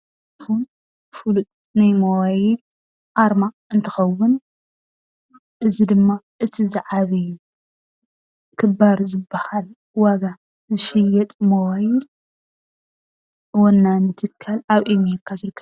ኣይፎን ፍሉጥ ናይ ሞባይል ኣርማ እንትከው፤ እዚ ድማ እቲ ዝዓበየን ክባር ዝበሃልን ዋጋ ዝሽየጥ ሞባይል ወናኒ ትካል ኣብ ኣሜርካ ዝርከብ።